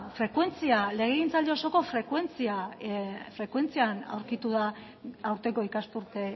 legegintzaldi osoko frekuentzian aurkitu da aurtengo ikasturte